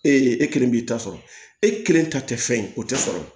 Ee e kelen b'i ta sɔrɔ e kelen ta tɛ fɛn ye o tɛ sɔrɔ